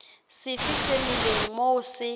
sefe se melang moo se